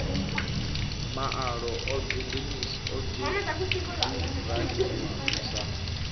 maalo o dzudzunganyiwa lu sa